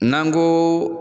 N'an ko